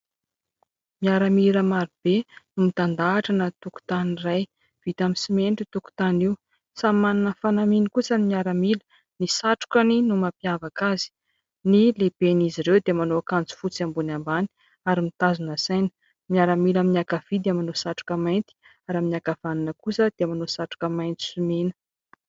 Miaramila maro be mitandahatra anaty tokotany iray, vita amin'ny simenitra io tokotany io, samy manana ny fanamiany kosa ny miaramila, ny satrokany no mampiavaka azy, ny lehiben'izy ireo dia manao akanjo fotsy ambony ambany ary mitazona saina, ny miaramila amin'ny ankavia dia manao satroka mainty ary amin'ny ankavanana kosa dia manao satroka maitso sy mena.